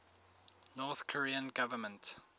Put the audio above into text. north korean government